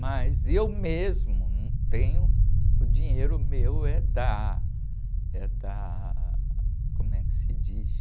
Mas eu mesmo não tenho, o dinheiro meu é da, é da, como é que se diz?